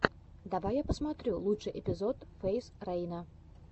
давай я посмотрю лучший эпизод фейз рейна